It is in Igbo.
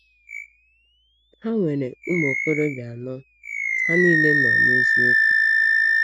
Ha nwere ụmụ okorobịa anọ, ha niile nọ n’eziokwu.